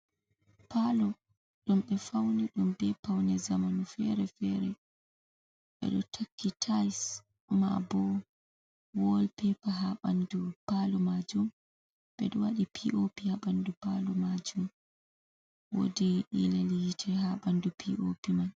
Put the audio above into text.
Paalo ɗum ɓe fauni ɗum ɓe paune zamanu feere-feere, ɓe ɗo takki tai maa bo wol pepa haa ɓandu palo majum, ɓe waɗi pi o pi haa bandu palo majum, wodi ilel yite haa ɓandu pi o pi man.